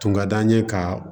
Tun ka d'an ye ka